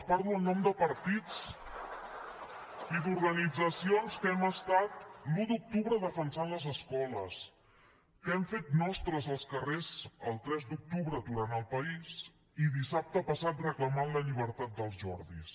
partits i d’organitzacions que hem estat l’un d’octubre defensant les escoles que hem fet nostres els carrers el tres d’octubre aturant el país i dissabte passat reclamant la llibertat dels jordis